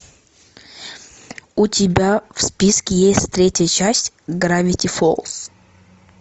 у тебя в списке есть третья часть гравити фолз